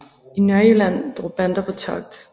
I Nørrejylland drog bander på togt